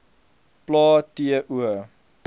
plae t o